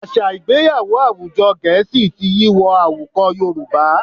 Àṣà Ìgbéyàwó àwùjọ Gẹ̀ẹ́sì ti yí wọ àwùkọ Yorùbá